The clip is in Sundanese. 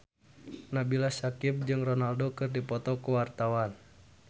Nabila Syakieb jeung Ronaldo keur dipoto ku wartawan